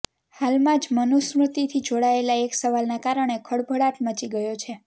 હાલમાં જ મનુસ્મૃતિથી જોડાયેલા એક સવાલના કારણે ખળભળાટ મચી ગયો છે